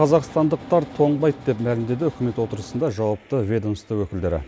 қазақстандықтар тоңбайды деп мәлімдеді үкімет отырысында жауапты ведомство өкілдері